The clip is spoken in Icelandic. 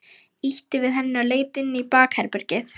Ýtti við henni og leit inn í bakherbergið.